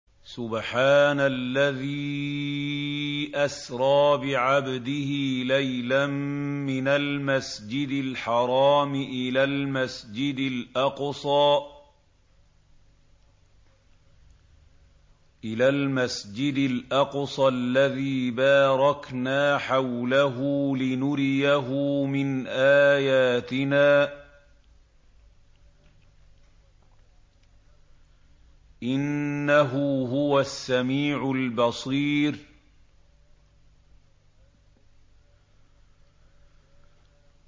سُبْحَانَ الَّذِي أَسْرَىٰ بِعَبْدِهِ لَيْلًا مِّنَ الْمَسْجِدِ الْحَرَامِ إِلَى الْمَسْجِدِ الْأَقْصَى الَّذِي بَارَكْنَا حَوْلَهُ لِنُرِيَهُ مِنْ آيَاتِنَا ۚ إِنَّهُ هُوَ السَّمِيعُ الْبَصِيرُ